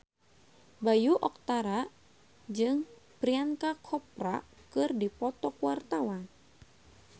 Bayu Octara jeung Priyanka Chopra keur dipoto ku wartawan